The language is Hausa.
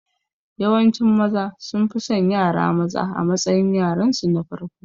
Yawancin Maza sunfi son yara maza a matsayin yaransu na farko